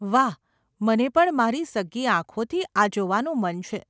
વાહ, મને પણ મારી સગ્ગી આંખોથી આ જોવાનું મન છે.